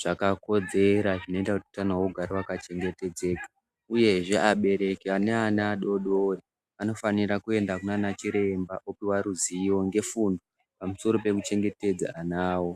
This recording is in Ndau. zvakakodzera zvinoite kuti utano hwavo hugare hwakachengetedzeka uyehe abereki ane ana adodori anofanire kuende kunanachiremba kundopiwa ruzivo ngefundo maringe nekuchengetedze ana awo.